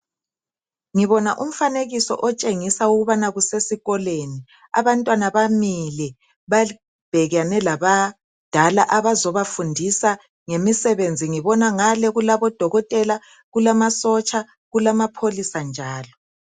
Ngibona umfanekisi otshengisa ukubana kusesikolweni abantwana bamile babhekene labadala abazobafundisa ngemisebenzi ngibona ngale kulabodokotela, amasotsha lamapholisa njalo.